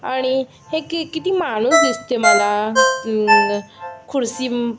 आणि हे कि किती माणूस दिसते मला अं खुर्ची--